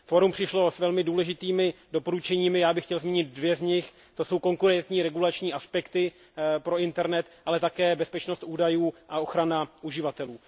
Fórum přišlo s velmi důležitými doporučeními, já bych chtěl zmínit dvě z nich to jsou konkurenční regulační aspekty pro internent, ale také bezpečnost údajů a ochrana uživatelů.